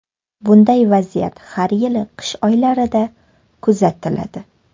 Bunday vaziyat har yili qish oylarida kuzatiladi.